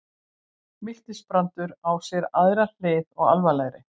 Miltisbrandur á sér aðra hlið og alvarlegri.